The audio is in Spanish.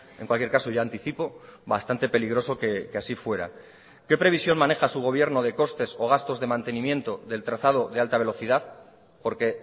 en cualquier caso ya anticipo bastante peligroso que así fuera qué previsión maneja su gobierno de costes o gastos de mantenimiento del trazado de alta velocidad porque